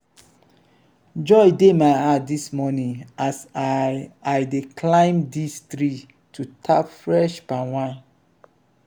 joy dey my heart dis morning as i i dey climb dis tree to tap fresh palm wine.